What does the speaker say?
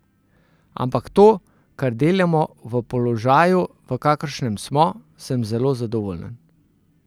Ampak to, kar delamo, v položaju, v kakršnem smo, sem zelo zadovoljen.